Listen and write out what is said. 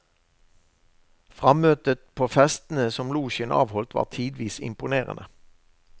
Frammøtet på festene som losjen avholdt, var tidvis imponerende.